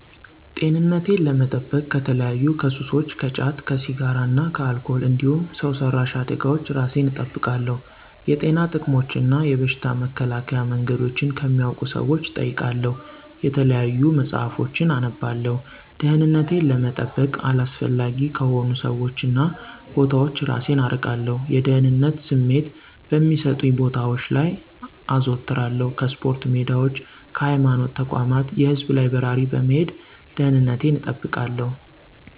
-ጤንነቴን ለመጠበቅ ከተለያዩ ከሱሶች ከጫት፣ ከሲራ እና ከአልኮል እንዲሁም ሠው ሰራሽ አደጋወች እራሴን እጠብቃለሁ። የጤና ጥቅሞችን እና የበሽታ መከላከያ መንገዶችን ከሚያውቁ ሠዎች እጠይቃለሁ የተለያዩ መፅሀፎችን አነባለሁ። -ደህንነቴን ለመጠበቅ አላስፈላጊ ከሆኑ ሠዎች እና ቦታዎች እራሴን አርቃለሁ። የደህንነት ስሜት በሚሠጡኝ ቦታወች ላይ አዞትራለሁ ከስፖርታ ሜዳዎች ከሀይማኖት ተቋማት የህዝብ ላይበራሪ በመሄድ ደንነቴን እጠብቃለሁ